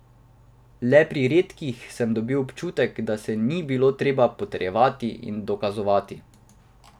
Le pri redkih sem dobil občutek, da se ni bilo treba potrjevati in dokazovati.